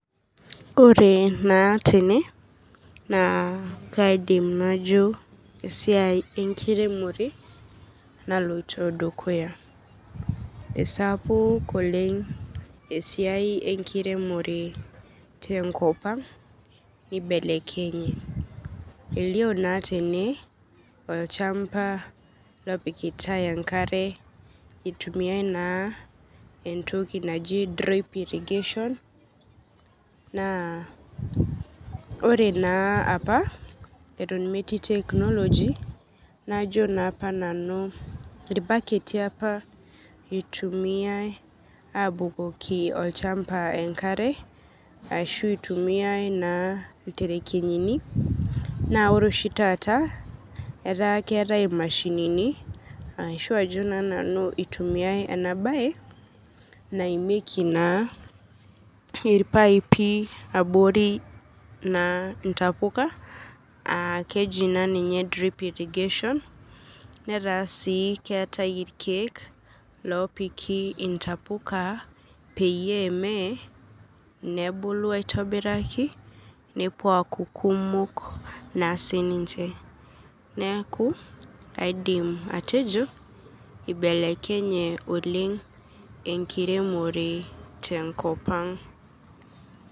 Ore naa tene naa kaidim najo esiai enkiremore naloito dukuya. Sapuk oleng' esiai enkiremore tenkopang' neibelekenye. Elio naa tene olchamba lopikitai enkare eitumiai naa entoki  drip irrigation naa ore naa apa eton metii teknoloji najo naapa nanu ilbaketi apa eitumiai abukoki olchamba enkare ashu eitumiai naa ilterekenyini naa ore oshi taata etaa keetai imashinini ashu ajo naa nanu eitumiai ena baye naimieki naa ilpaipi abori naa intapuka aakeji naaninye drip irrigation, netaa sii keetai irkeek loopiki intapuka peyie meye nebulu aitobiraki nepuo aaku kumok naa sininche. Neaku kaidim atejo eibelekenye oleng' enkiremore tenkopang'.